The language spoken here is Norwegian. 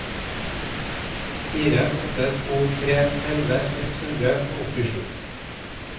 fire åtte to tre elleve ett hundre og åttisju